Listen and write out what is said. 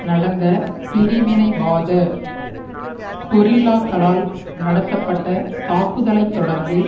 நடந்த பிரிவினைவாத கொரில்லாக்களால் நடத்தப்பட்ட தாக்குதலை தொடர்ந்து